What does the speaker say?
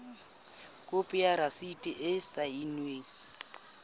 khopi ya rasiti e saennweng